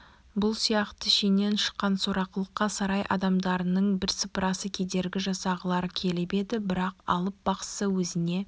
бұл сияқты шеннен шыққан сорақылыққа сарай адамдарының бірсыпырасы кедергі жасағылары келіп еді бірақ алып бақсы өзіне